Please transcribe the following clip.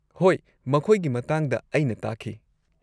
-ꯍꯣꯏ, ꯃꯈꯣꯏꯒꯤ ꯃꯇꯥꯡꯗ ꯑꯩꯅ ꯇꯥꯈꯤ ꯫